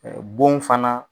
Bon fana